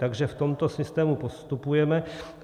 Takže v tomto systému postupujeme.